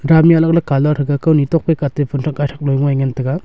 dam me alag alag colour thaga kaoni tok ka atte phumthak gaithak loi ngan taga.